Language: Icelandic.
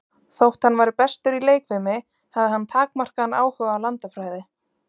Þótt hann væri bestur í leikfimi, hafði hann takmarkaðan áhuga á landafræði.